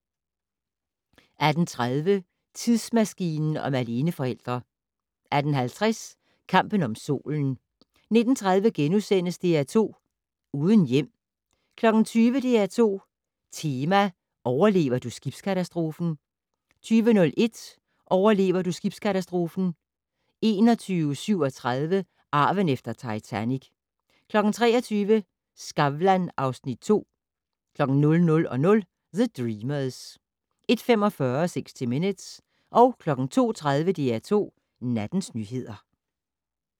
18:30: Tidsmaskinen om aleneforældre 18:50: Kampen om Solen 19:30: DR2 Uden hjem * 20:00: DR2 Tema: Overlever du skibskatastrofen? 20:01: Overlever du skibskatastrofen? 21:37: Arven efter Titanic 23:00: Skavlan (Afs. 2) 00:00: The Dreamers 01:45: 60 Minutes 02:30: DR2 Nattens nyheder